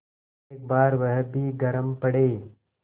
एक बार वह भी गरम पड़े